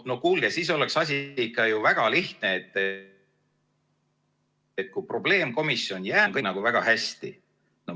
No kuulge, siis oleks asi ikka ju väga lihtne, et kui probleemkomisjon jääb, siis on väga hästi.